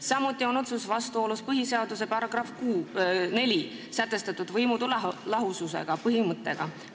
Samuti oleks see otsus vastuolus põhiseaduse §-s 4 sätestatud võimude lahususe põhimõttega.